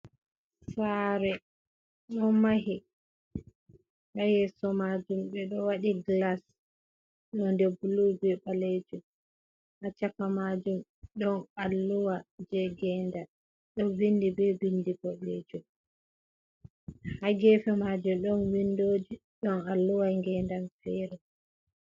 Sare don mahi ha yeso majum be do wadi glas do nde blubi balejum acchaka majum don alluwa je genda do vindi be bindi bolejum hagefe majum don vindoji don alluwa gendan feren.